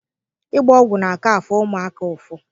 Ịgba ọgwụ na-aka afụ ụmụaka ụfụ.